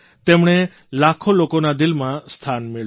તેમણે લાખો લોકોના દિલમાં સ્થાન મેળવ્યું